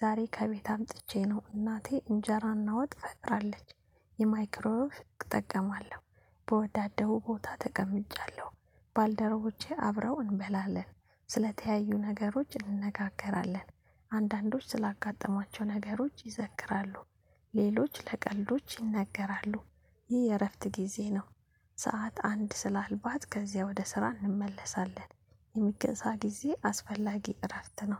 ዛሬ ከቤት አምጥቼ ነው እናቴ እንጀራና ወጥ ፈጥራለች። የማይክሮ ህግ እጠቀማለሁ። በወዳደው ቦታ ተቀምጫለሁ ባልደረቦቼ አብረው እንበላለን ስለተያዩ ነገሮች እንነጋገራለን። አንዳንዶች ስላጋጠሟቸው ነገሮች ይዘክራሉ ሌሎች ለቀልዶች ይነገራሉ ይህ የእረፍት ጊዜ ነው። ሰዓት አንድ ስላልባት ከዚያ ወደ ስራ እንመለሳለን የሚገዛ ጊዜ አስፈላጊ እረፍት ነው።